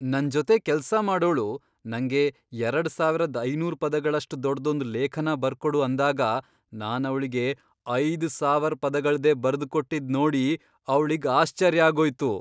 ನನ್ ಜೊತೆ ಕೆಲ್ಸ ಮಾಡೋಳು ನಂಗೆ ಎರಡ್ ಸಾವರದ್ ಐನೂರು ಪದಗಳಷ್ಟು ದೊಡ್ದೊಂದ್ ಲೇಖನ ಬರ್ಕೊಡು ಅಂದಾಗ ನಾನ್ ಅವ್ಳಿಗೆ ಐದ್ ಸಾವರ್ ಪದಗಳ್ದೇ ಬರ್ದ್ ಕೊಟ್ಟಿದ್ ನೋಡಿ ಅವ್ಳಿಗ್ ಆಶ್ಚರ್ಯ ಆಗೋಯ್ತು.